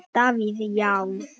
Davíð Já.